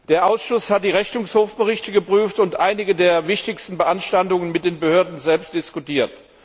Der Ausschuss hat die Rechnungshofberichte geprüft und einige der wichtigsten Beanstandungen mit den Behörden selbst diskutiert.